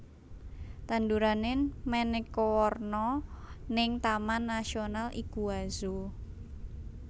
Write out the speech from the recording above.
Tandurane maneka werna ning Taman Nasional Iguazu